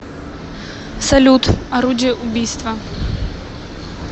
салют орудие убийства